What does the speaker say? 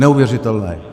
Neuvěřitelné.